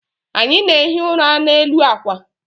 Anyị na-ehi ụra n'elu akwa